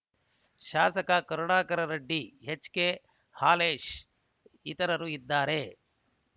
ಶಾಸಕ Karunakara Reddy H K Halesh ಇತರರು ಇದ್ದಾರೆ